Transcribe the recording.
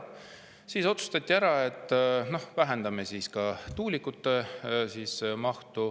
Siis otsustati ära, et vähendame ka tuulikute mahtu.